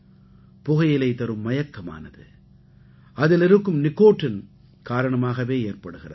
புகையிலை தரும் மயக்கமானது அதில் இருக்கும் நிக்கோட்டின் காரணமாகவே ஏற்படுகிறது